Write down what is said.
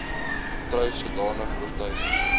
trou sodanige oortuiging